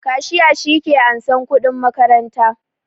Kashiya shi ke ansan kuɗin makaranta